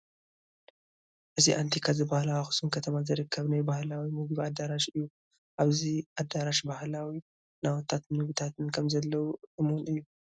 እዚ ኣንቲካ ዝበሃል ኣብ ኣኽሱም ከተማ ዝርከብ ናይ ባህላዊ ምግቢ ኣዳራሽ እዩ፡፡ ኣብዚ ኣዳራሽ ባህላዊ ናውትታትን ምግብታትን ከምዘለዉ እሙን እዩ፡፡